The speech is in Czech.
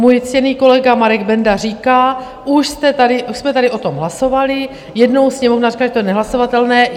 Můj ctěný kolega Marek Benda říká: Už jsme tady o tom hlasovali, jednou Sněmovna řekla, že je to nehlasovatelné.